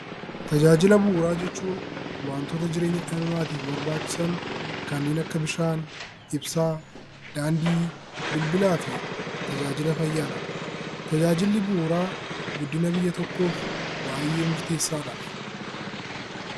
Tajaajila bu'uuraa jechuun waantota jireenya dhala namaaf barbaachisan kanneen akka bishaan, ibsaa, daandii, bilbilaa fi tajaajila fayyaadha. Tajaajilli bu'uuraa guddina biyya tokkoof baay'ee murteessaadha.